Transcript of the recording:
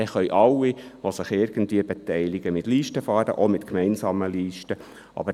Es können dann alle, die sich irgendwie beteiligen, mit Listen, auch mit gemeinsamen Listen, fahren.